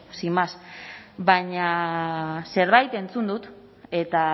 sin más baina zerbait entzun dut eta